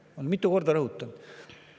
Olen seda mitu korda rõhutanud.